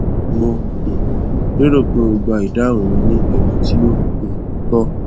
mo um lérò pé ó gba ìdáhùn mi ní ẹmí tí ó um tọ